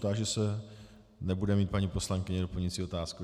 Táži se, nebude mít paní poslankyně doplňující otázku.